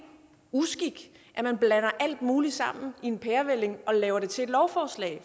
uskik at man blander alt muligt sammen i en pærevælling og laver det til et lovforslag